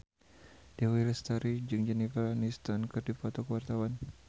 Dewi Lestari jeung Jennifer Aniston keur dipoto ku wartawan